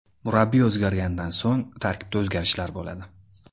Murabbiy o‘zgarganidan so‘ng tarkibda o‘zgarishlar bo‘ladi.